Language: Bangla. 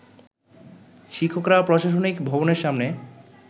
শিক্ষকরা প্রশাসনিক ভবনের সামনে